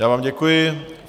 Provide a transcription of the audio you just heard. Já vám děkuji.